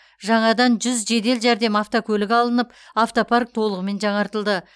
жаңадан жүз жедел жәрдем автокөлігі алынып автопарк толығымен жаңартылды